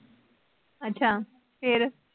ਅੱਛਾ, ਫਿਰ?